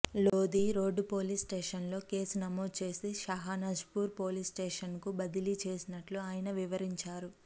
Lodhi road police స్టేషన్లో కేసు నమోదు చేసి షాహనాజ్పూర్ పోలీసు స్టేషన్కు బదిలీ చేసినట్లు ఆయన వివరించారు